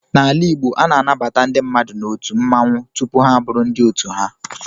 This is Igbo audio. N'ala Igbo, a na-anabata ndị mmadụ n'otu mmanwụ tupu ha abụrụ ndị otu ha.